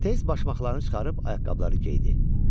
Tez başmaqlarını çıxarıb ayaqqabıları geydi.